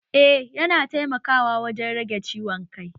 Eh, yana taimakawa wajen rage ciwon kai